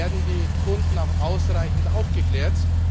Werden die Kunden auch ausreichend aufgeklärt?